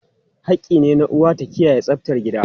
Hakki ne na uwa ta kiyaye tsaftar gida.